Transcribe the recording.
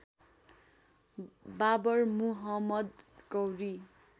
Babur Muhammad Gauri